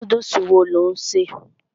Núdùsì wo lò ń ṣè?